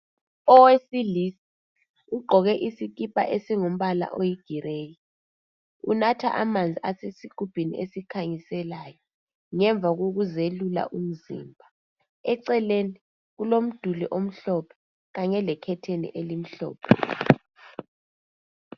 Owesilisa ugqoke isikipa esingumbala oyigireyi, unatha amanzi asesigubhini esikhanyiselayo ngemva kokuzelula umzimba. Eceleni kulomduli omhlophe, kanye lekhetheni elimhlophe.